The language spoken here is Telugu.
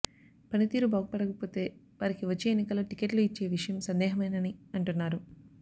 పనితీరు బాగు పడకపోతే వారికి వచ్చే ఎన్నికల్లో టికెట్లు ఇచ్చే విషయం సందేహమేనని అంటున్నారు